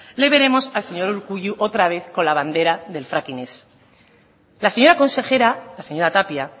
le veremos al señor urkullu otra vez con la bandera del fracking ez la señora consejera la señora tapia